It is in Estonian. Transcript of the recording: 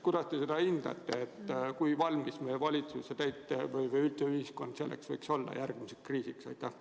Kuidas te seda hindate, kui valmis meie valitsus või üldse ühiskond võiks olla järgmiseks kriisiks?